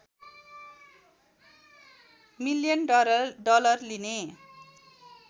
million dollar लिने